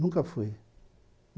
Nunca fui.